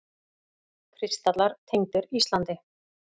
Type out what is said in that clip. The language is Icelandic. Kristallar tengdir Íslandi